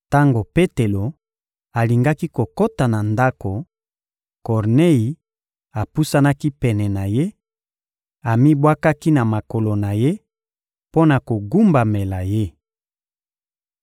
Tango Petelo alingaki kokota na ndako, Kornei apusanaki pene na ye, amibwakaki na makolo na ye mpo na kogumbamela ye.